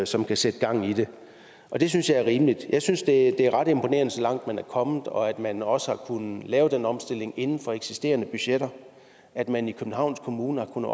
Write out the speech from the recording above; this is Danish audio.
som kan sætte gang i det og det synes jeg er rimeligt jeg synes det er ret imponerende så langt man er kommet og at man også har kunnet lave den omstilling inden for eksisterende budgetter at man i københavns kommune har kunnet